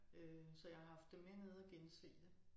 Øh så jeg har haft dem med nede at gense det